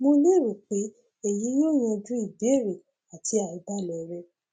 mo lérò pé èyí yóò yanjú ìbéèrè àti àìbalẹ rẹ